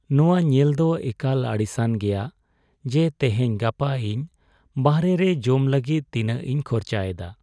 ᱱᱚᱣᱟ ᱧᱮᱞ ᱫᱚ ᱮᱠᱟᱞ ᱟᱹᱲᱤᱥᱟᱱ ᱜᱮᱭᱟ ᱡᱮ ᱛᱮᱦᱮᱧᱼᱜᱟᱯᱟ ᱤᱧ ᱵᱟᱨᱦᱮ ᱨᱮ ᱡᱚᱢ ᱞᱟᱹᱜᱤᱫ ᱛᱤᱱᱟᱹᱜ ᱤᱧ ᱠᱷᱚᱨᱪᱟᱭ ᱮᱫᱟ ᱾